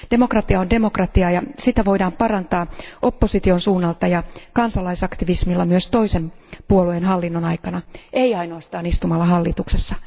Demokratia on demokratiaa, ja sitä voidaan parantaa opposition suunnalta ja kansalaisaktivismilla myös toisen puolueen hallinnon aikana, ei ainoastaan istumalla hallituksessa.